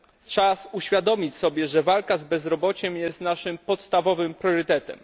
Czas uświadomić sobie, że walka z bezrobociem jest naszym podstawowym priorytetem.